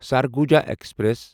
Surguja express